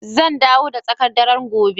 Zan dawo da tsakar dare gobe